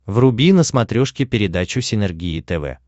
вруби на смотрешке передачу синергия тв